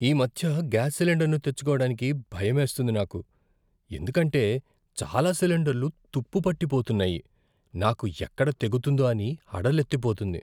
ఈమధ్య గ్యాస్ సిలిండర్ను తెచ్చుకోడానికి భయమేస్తుంది నాకు. ఎందుకంటే చాలా సిలిండర్లు తుప్పు పట్టిపోతున్నాయి, నాకు ఎక్కడ తెగుతుందో అని హడలెత్తిపోతుంది.